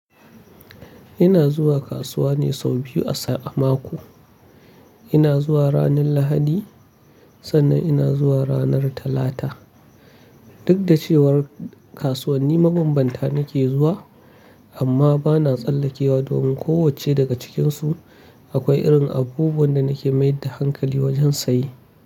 Ina zuwa kasuwa ne sau biyu a mako. Ina zuwa ranar Lahadi sannan ina zuwa ranar Talata. Duk da cewar kasuwanni mabambanta nake zuwa amma bana tsallakewa domin kowacce daga cikinsu akwai irin abubuwan da nake mayar da hankali wajen sayi.